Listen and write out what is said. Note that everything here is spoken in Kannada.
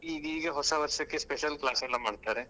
ಈಗೀಗ ಹೊಸ ವರ್ಷಕ್ಕೆ special class ಎಲ್ಲ ಮಾಡ್ತಾರೆ.